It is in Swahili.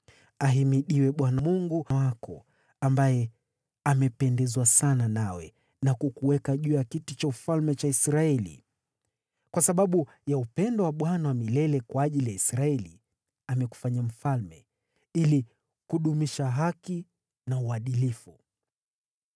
Ahimidiwe Bwana Mungu wako, ambaye amependezwa sana nawe na kukuweka juu ya kiti cha ufalme cha Israeli. Kwa sababu ya upendo wake Bwana wa milele ajili ya Israeli, amekufanya mfalme, ili kudumisha haki na uadilifu.”